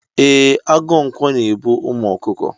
E, agụ ǹkwọ na e bu umu ọkụkọ.